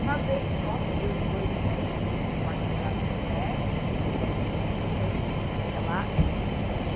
Uma vez só, peguei os dois, que eram vizinhos de Porta, moravam no térreo, que eu fui até lá.